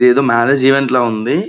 ఎదో marriage event లా ఉంది.